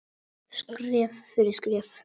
Skref fyrir skref.